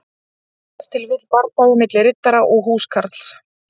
Ef til vill bardagi milli riddara og húskarls.